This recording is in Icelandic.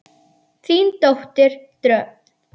Þín dóttir Dröfn.